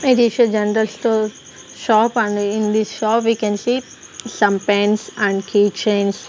there is a general store shop and in this shop we can see some pens and keychains.